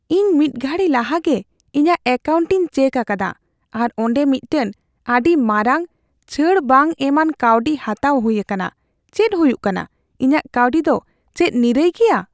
ᱤᱧ ᱢᱤᱫ ᱜᱷᱟᱹᱲᱤ ᱞᱟᱦᱟᱜᱮ ᱤᱧᱟᱜ ᱮᱠᱟᱣᱩᱱᱴᱤᱧ ᱪᱮᱠ ᱟᱠᱟᱫᱟ ᱟᱨ ᱚᱸᱰᱮ ᱢᱤᱫᱴᱟᱝ ᱟᱹᱰᱤ ᱢᱟᱨᱟᱝ , ᱪᱷᱟᱹᱲ ᱵᱟᱝ ᱮᱢᱟᱱ ᱠᱟᱣᱰᱤ ᱦᱟᱛᱟᱣ ᱦᱩᱭ ᱟᱠᱟᱱᱟ ᱾ ᱪᱮᱫ ᱦᱩᱭᱩᱜ ᱠᱟᱱᱟ ? ᱤᱧᱟᱜ ᱠᱟᱹᱣᱰᱤ ᱫᱚ ᱪᱮᱫ ᱱᱤᱨᱟᱹᱭ ᱜᱮᱭᱟ ?